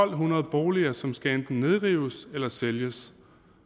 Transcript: hundrede boliger som enten skal nedrives eller sælges